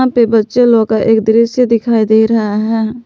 पे बच्चे लोग का एक दृश्य दिखाई दे रहा है।